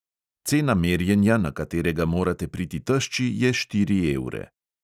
Cena merjenja, na katerega morate priti tešči, je štiri evre.